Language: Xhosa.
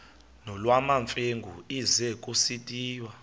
nolwamamfengu ize kusitiya